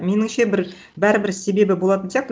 меніңше бір бәрібір себебі болатын сияқты